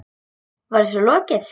Var þessu lokið?